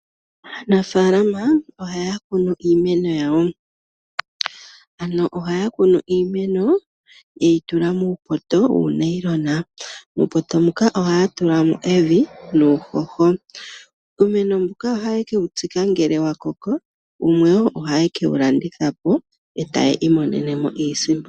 Aanafalama ohaya kunu iimeno yawo. Ano ohayakunu iimene, te wutula muupoto, muu nylon. Uupoto mbuka ohaya tulamo evi, nuuhoho. Uumeno mbuka ohaye kewu tsika ngele wa koko, wumwe, ohaye ke wu landithapo, yo taya imonene mo iisimpo.